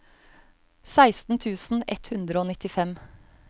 seksten tusen ett hundre og nittifem